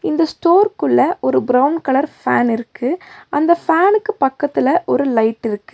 இந்த ஸ்டோர்க்குள்ள ஒரு பிரவுன் கலர் ஃபேன் இருக்கு அந்த ஃபேன்க்கு பக்கத்துல ஒரு லைட் இருக்கு.